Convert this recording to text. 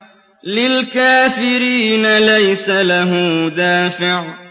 لِّلْكَافِرِينَ لَيْسَ لَهُ دَافِعٌ